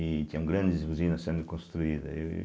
e tinham grandes usinas sendo construídas. aí